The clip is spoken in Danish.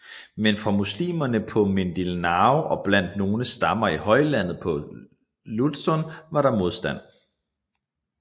Men fra muslimerne på Mindanao og blandt nogle stammer i højlandet på Luzon var der modstand